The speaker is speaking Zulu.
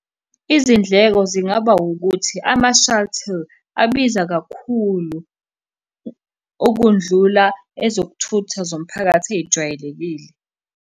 Izindleko zingaba ukuthi ama-shuttle, abiza kakhulu ukundlula ezokuthutha zomphakathi ey'jwayelekile.